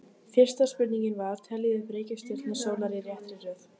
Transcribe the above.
Fyrsta spurning var: Teljið upp reikistjörnur sólar í réttri röð.